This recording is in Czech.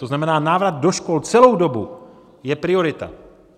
To znamená, návrat do škol celou dobu je priorita.